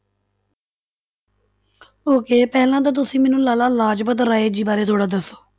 Okay ਪਹਿਲਾਂ ਤਾਂ ਤੁਸੀਂ ਮੈਨੂੰ ਲਾਲਾ ਲਾਜਪਤ ਰਾਏ ਜੀ ਬਾਰੇ ਥੋੜ੍ਹਾ ਦੱਸੋ।